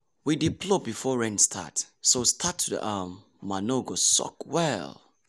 we dey plough before rain start so start so the um manure go soak well.